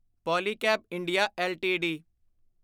Polycab India LTD